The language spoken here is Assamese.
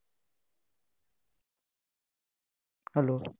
hello!